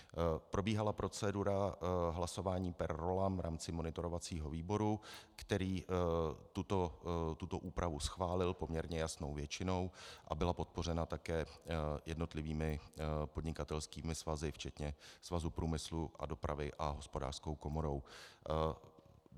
Probíhala procedura hlasování per rollam v rámci monitorovacího výboru, který tuto úpravu schválil poměrně jasnou většinou a byla podpořena také jednotlivými podnikatelskými svazy včetně Svazu průmyslu a dopravy a Hospodářské komory.